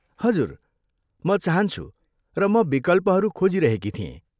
हजुर, म चाहन्छु र म विकल्पहरू खोजिरहेकी थिएँ।